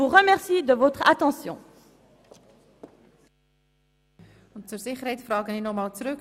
Sicherheitshalber frage ich Grossrätin Dunning nochmals zurück: